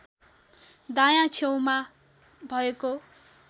दायाँ छेउमा भएको